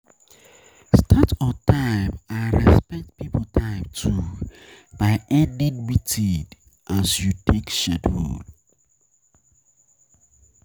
Start on time and respect pipo time too by ending meeting meeting as you take schedule